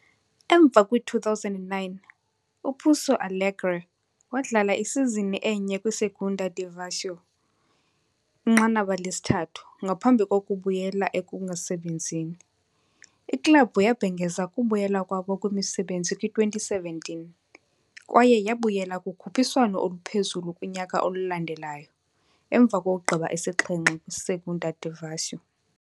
Emva kwi-2009, uPouso Alegre wadlala isizini enye kwi-Segunda Divisão, inqanaba lesithathu, ngaphambi kokubuyela ekungasebenzini. Iklabhu yabhengeza ukubuyela kwabo kwimisebenzi kwi-2017, kwaye yabuyela kukhuphiswano oluphezulu kunyaka olandelayo emva kokugqiba isixhenxe kwi-Segunda Divisão.